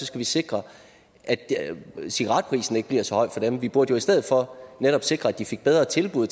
skal sikre at cigaretprisen ikke bliver så høj for dem vi burde jo i stedet for netop sikre at de fik bedre tilbud